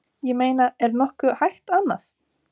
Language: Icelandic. Ég meina er nokkuð hægt annað?